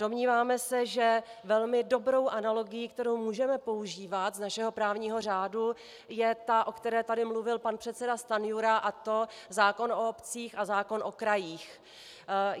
Domníváme se, že velmi dobrou analogií, kterou můžeme používat z našeho právního řádu, je ta, o které tady mluvil pan předseda Stanjura, a to zákon o obcích a zákon o krajích.